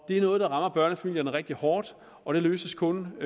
er noget der rammer børnefamilierne rigtig hårdt og det løses kun